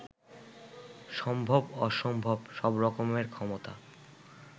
সম্ভব-অসম্ভব সব রকমের ক্ষমতা